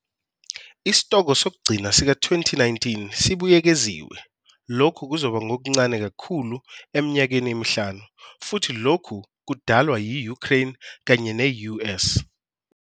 Isitoko sokugcina sika-2019 sibuyekeziwe, lokhu kuzoba ngokuncane kakhulu eminyakeni emihlanu, futhi lokhu kudalwa yi-Ukraine kanye ne-US.